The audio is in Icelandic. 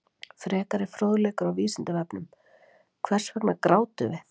Frekari fróðleikur á Vísindavefnum: Hvers vegna grátum við?